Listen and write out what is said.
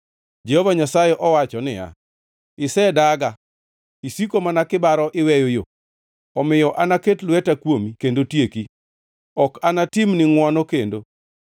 Jehova Nyasaye owacho niya, “Isedaga. Isiko mana kibaro iweyo yo. Omiyo anaket lweta kuomi kendo tieki; ok anatimni ngʼwono kendo.